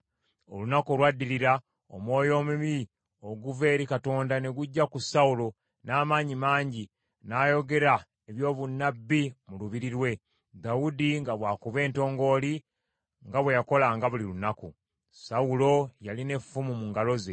Olunaku olwaddirira omwoyo omubi okuva eri Katonda ne gujja ku Sawulo n’amaanyi mangi, n’ayogera eby’obunnabbi mu lubiri lwe, Dawudi nga bw’akuba entongooli nga bwe yakolanga buli lunaku. Sawulo yalina effumu mu ngalo ze,